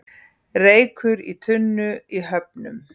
Reykur í tunnu í Höfnum